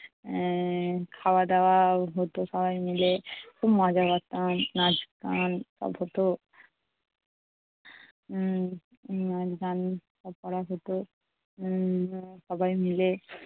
এর খাওয়া দাওয়া হতো সবাই মিলে। খুব মজা করতাম। নাচতাম, সব হতো উম গান করা হতো উম সবাই মিলে।